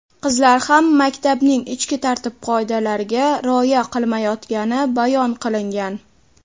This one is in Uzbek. qizlar ham maktabning ichki tartib-qoidalariga rioya qilmayotgani bayon qilingan.